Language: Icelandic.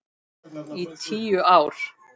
Í tíu ár.